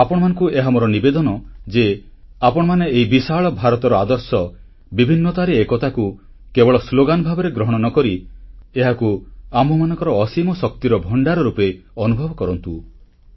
ଆପଣମାନଙ୍କୁ ଏହା ମୋର ନିବେଦନ ଯେ ଆପଣମାନେ ଏହି ବିଶାଳ ଭାରତର ଆଦର୍ଶ ବିଭିନ୍ନତାରେ ଏକତା କୁ କେବଳ ସ୍ଲୋଗାନ ଭାବରେ ଗ୍ରହଣ ନ କରି ଏହାକୁ ଆମ୍ଭମାନଙ୍କର ଅସୀମ ଶକ୍ତିର ଭଣ୍ଡାର ରୂପେ ଅନୁଭବ କରନ୍ତୁ